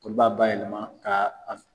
Kɔni b'a bayɛlɛma ka